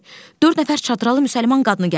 Dörd nəfər çadralı müsəlman qadını gəlib.